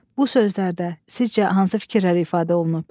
Bu sözlərdə sizcə hansı fikirlər ifadə olunub?